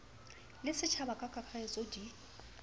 le setjhaba ka kakaretso di